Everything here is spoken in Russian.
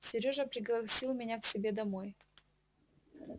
сережа пригласил меня к себе домой